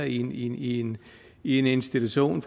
i i en institution